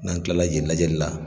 N'an tilala yen lajɛli la